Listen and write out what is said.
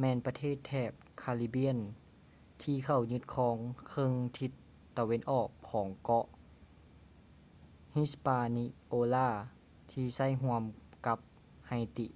ແມ່ນປະເທດແຖບຄາຣິບຽນ caribbean ທີ່ເຂົ້າຍຶດຄອງເຄິ່ງທິດຕາເວັນອອກຂອງເກາະ hispaniola ທີ່ໃຊ້ຮ່ວມກັນກັບ haiti